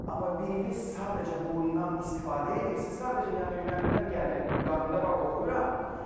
Amma biriniz sadəcə bundan istifadə eləyirsiz, sadəcə yəni ürəyimdən gəlir, qanımda var oxuyuram.